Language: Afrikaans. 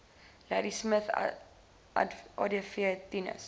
ladismith adv tinus